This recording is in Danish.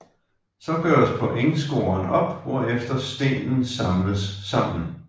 Så gøres pointscoren op hvorefter stenen samles sammen